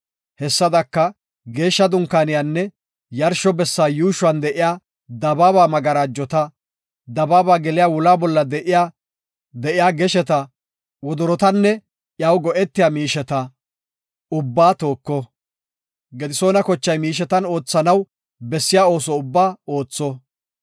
Hessadaka Geeshsha Dunkaaniyanne yarsho bessa yuushuwan de7iya dabaaba magarajota, dabaaba geliya wula bolla de7iya gesheta, wodorotanne iyaw go7etiya miisheta ubbaa tooko. Gedisoona kochay miishetan oothanaw bessiya ooso ubbaa ootho.